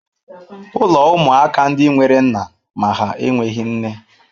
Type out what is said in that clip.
Ụlọ ụmụaka ndị nwere nna ma ha enweghị nne.